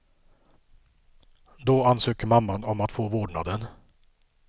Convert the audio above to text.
Då ansöker mamman om att få vårdnaden.